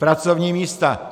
Pracovní místa.